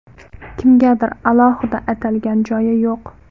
Kimgadir alohida atalgan joyi yo‘q.